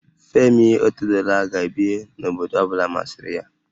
Femi Otedola ga-ebi n'obodo ọ bụla masịrị ya